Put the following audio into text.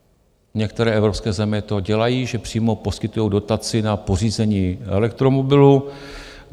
Některé evropské země to dělají, že přímo poskytují dotaci na pořízení elektromobilu.